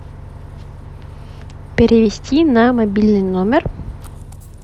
перевести на мобильный номер